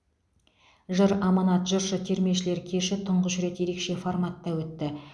жыр аманат жыршы термешілер кеші тұңғыш рет ерекше форматта өтті